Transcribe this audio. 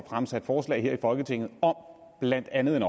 fremsat forslag her i folketinget om blandt andet en